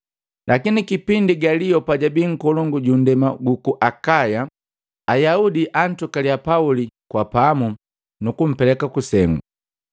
Lakini kipindi Galio pajabii nkolongu ju ndema guku Akaya, Ayaudi ankupaliya Pauli kwa pamu nukumpeleka kusengu.